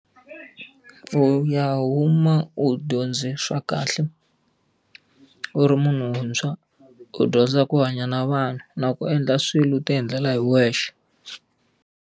Ku u ya huma u dyondze swa kahle, u ri munhu wuntshwa, u dyondza ku hanya na vanhu na ku endla swilo u ti endlela hi wexe.